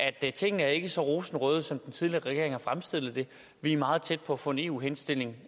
tingene ikke var så rosenrøde som den tidligere regering havde fremstillet det vi er meget tæt på at få en eu henstilling